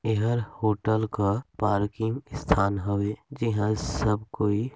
ईहंल hotel का parking स्थान हवे जीहाँ सब कोई --